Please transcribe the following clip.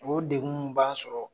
O degun mun b'an sɔrɔ.